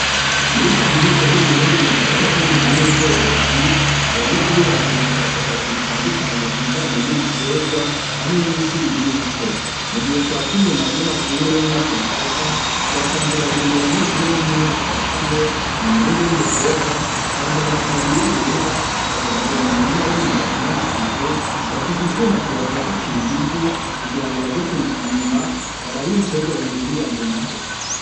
Muri kaminuza yu Burundi mu gisata c'uburimyi n'ubworozi .Abanyeshuri baragira ubushakashatsi butandukanye ku bijanye n'ibitegwa hamwe n'isi birimwako, mu gihe twaca inyuma y'amashure yo muri cyo gisata twasanze babiri mu banyeshuri bo mu mwaka wa kane n'umuhungu n'umukobwa bambaye amataburiya yera bahagaze mu murima w'imyumbatsi n'amateke ,bafise icuma kibafasha kwimba ibivu kugira ngo baje kuripima baraba ibitegwa bihuriranye naho.